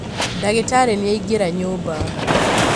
Ndagĩtarĩ nĩaingĩra nyũmba